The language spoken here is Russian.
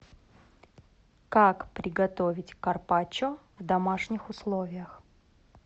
как приготовить карпаччо в домашних условиях